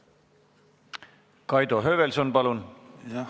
Kaido Höövelson, palun!